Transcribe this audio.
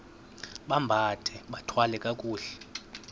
bambathe bathwale kakuhle